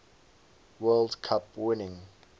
world cup winning